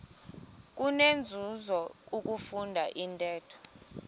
kunenzuzo ukufunda intetho